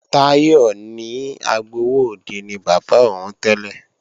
Táyọ̀ ní agbowóòde ni bàbá òun tẹ́lẹ̀